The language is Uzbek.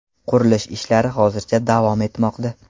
Qurilish ishlari hozircha davom etmoqda.